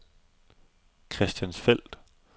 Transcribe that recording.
Christiansfeld